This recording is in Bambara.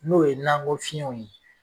N'o ye nakɔ fiyɛnw ye